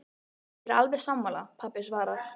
Ég er þér alveg sammála, pabbi svarar